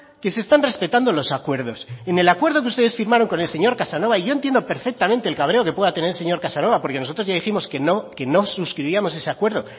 que se están respetando los acuerdos en el acuerdo que ustedes firmaron con el señor casanova y yo entiendo perfectamente el cabreo que pueda tener el señor casanova porque nosotros ya dijimos que no suscribíamos ese acuerdo